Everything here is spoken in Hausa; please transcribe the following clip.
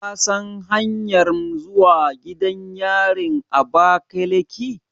Ka san hanyanmr zuwa gidan yarin Abakeleki?